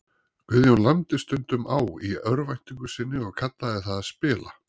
Guðjón lamdi stundum á í örvæntingu sinni og kallaði það að spila.